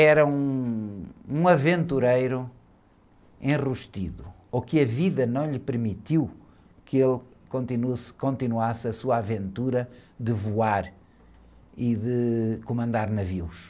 era um, um aventureiro enrustido, ou que a vida não lhe permitiu que ele continu, continuasse a sua aventura de voar e de comandar navios.